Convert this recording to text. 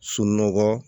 Sunɔgɔ